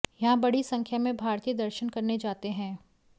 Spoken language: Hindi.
यहां बड़ी संख्या में भारतीय दर्शन करने जाते हैं